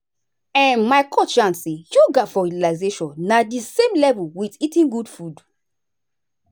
um my coach yarn say yoga for relaxation na the same level with eating good food.